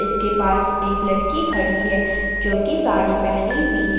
इसके पास एक लड़की खड़ी है जो की साड़ी पहनी हुई है ।